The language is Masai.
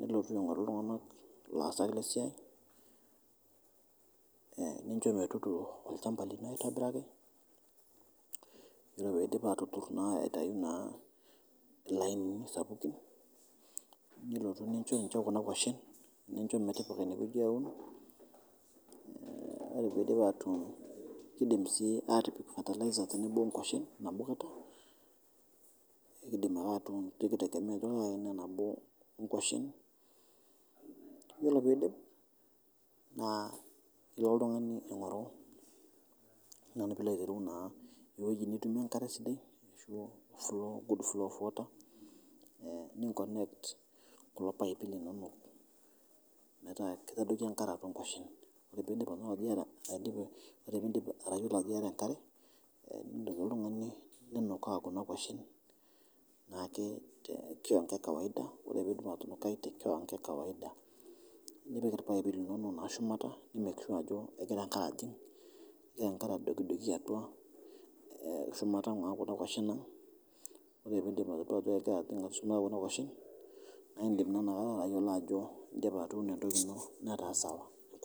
nilotu aing'oru ltunganak laasak le siai nincho metudung'o olchamba lino aitobiraki, ore peidip aatudung' aitai naa lainini sapukin nilotu nincho ninche kuna koshen, nincho metipika ina weji aun, ore peidip atuun keidim sii atipik fertiliser tenebo ongoshen nabo kata, ekeitegemea ajo kaa aina nabo e ngoshen, iyolo peidip naa nilo oltungani aing'oru ajo nanu pilo aitereu naa eweji nilo nitumie enkare sidai asho good flow of water ninkonekt kulo paipi linono metaa keitadoki nkare atua ngoshen, ore piidip arashu ajo ieta enkare, nindim oltungani ninukaa kuna koshen naake te kiwango e kawaida ore piindip atunukai te kiwango e kawaida nipik lpaipi linono naake shumata ni make sure ajo egira nkare ajing',egira enkare adokidoki atua shumata naa kuna koshen naa indim naa ina kata ayolo ajo indipa atuuno entoki ino netaa sawa